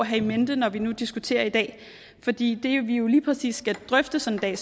have in mente når vi nu diskuterer i dag fordi det vi jo lige præcis skal drøfte sådan